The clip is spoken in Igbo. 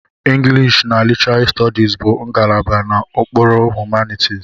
English na Literary Studies bụ ngalaba n'okpuru Humanities.